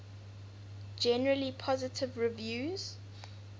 generally positive reviews